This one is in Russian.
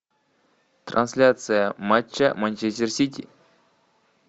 трансляция матча манчестер сити